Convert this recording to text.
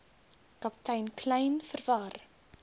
kaptein kleyn verwar